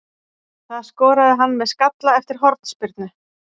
Það skoraði hann með skalla eftir hornspyrnu.